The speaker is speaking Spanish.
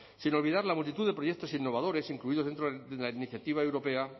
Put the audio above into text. sin olvidar la multitud de proyectos innovadores incluidos dentro de la iniciativa europea